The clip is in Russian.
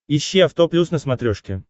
ищи авто плюс на смотрешке